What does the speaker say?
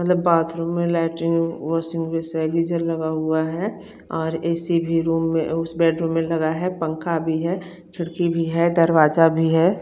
मतलभ bathroom में latrine washing basin है geyser लगा हुआ हैं और ए_सी भी रूम में उस बेडरूम में लगा है पंखा भी है खिड़की भी है दरवाजा भी है।